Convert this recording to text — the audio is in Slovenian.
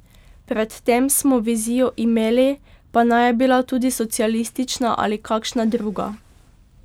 Pred tem smo vizijo imeli, pa naj je bila socialistična ali kakšna druga.